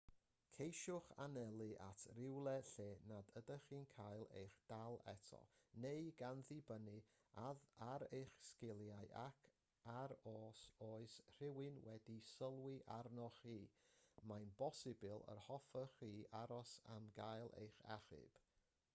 ceisiwch anelu at rywle lle nad ydych chi'n cael eich dal eto neu gan ddibynnu ar eich sgiliau ac ar os oes rhywun wedi sylwi arnoch chi mae'n bosibl yr hoffech chi aros am gael eich achub